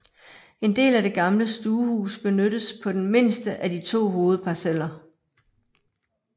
En del af det gamle stuehus benyttes på den mindste af de to hovedparceller